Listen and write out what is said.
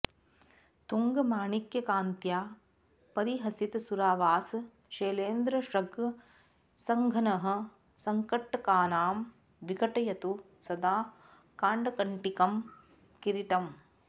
तुङ्गं माणिक्यकान्त्या परिहसितसुरावासशैलेन्द्रशृङ्गं सङ्घन्नः सङ्कटानां विघटयतु सदा काङ्कटीकं किरीटम्